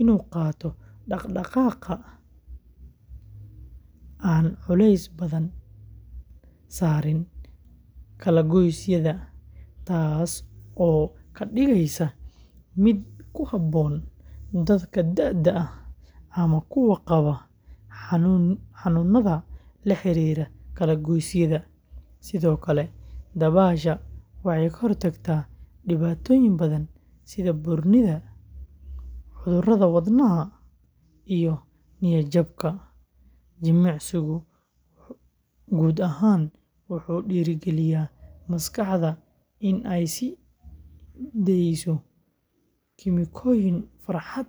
in uu qaato dhaqdhaqaaq aan culays badan saarin kala-goysyada, taasoo ka dhigaysa mid ku habboon dadka da'da ah ama kuwa qaba xanuunada la xiriira kala-goysyada. Sidoo kale, dabaasha waxay ka hortagtaa dhibaatooyin badan sida buurnida, cudurrada wadnaha, iyo niyad-jabka. Jimicsigu guud ahaan wuxuu dhiirrigeliyaa maskaxda in ay sii deyso kiimikooyin farxad keena.